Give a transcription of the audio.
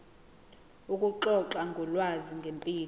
ukuxoxa ngolwazi ngempilo